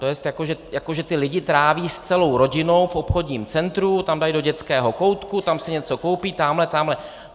To je, jako že ti lidé tráví s celou rodinou v obchodním centru, tam dají do dětského koutku, tam si něco koupí, tamhle, tamhle.